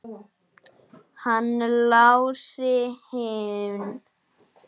Hann Lási minn!